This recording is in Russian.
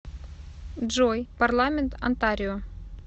джой парламент онтарио